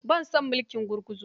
Ba na son mulkin gurguzu.